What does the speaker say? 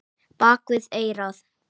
Bak við eyrað.